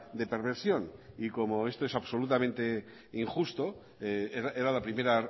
de perversión y como esto es absolutamente injusto era la primera